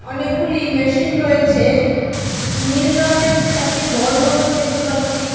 অনেকগুলি মেশিন রয়েছে। নীল রঙের চারটি বল মতন দেখতে পাচ্ছি।